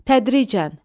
Tədricən.